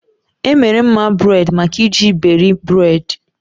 E mere mma buredi maka iji iberi buredi